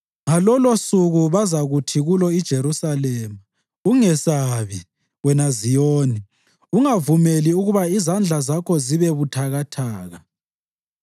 Ngalolosuku bazakuthi kulo iJerusalema, “Ungesabi, wena Ziyoni; ungavumeli ukuba izandla zakho zibe buthakathaka.